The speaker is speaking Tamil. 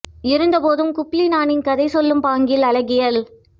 இருந்தபோதும் குப்பிளானின் கதை சொல்லும் பாங்கில் அழகியல்